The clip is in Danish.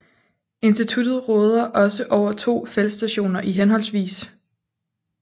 Instituttet råder også over to feltstationer i hhv